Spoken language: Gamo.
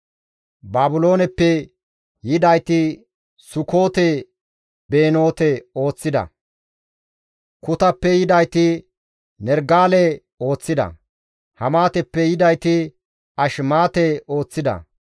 Baabilooneppe yidayti Sukoote-Benoote ooththida; Kutappe yidayti Nerigale ooththida; Hamaateppe yidayti Ashmaate ooththida;